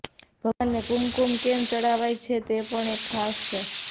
ભગવાનને કુમકુમ કેમ ચડાવાય છે તે પણ છે ખાસ